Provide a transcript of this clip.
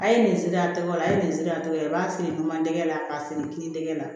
A ye nin segi a tɔgɔ la a ye nin segi aw b'a feere dun tɛ la k'a feere kini tɛgɛ la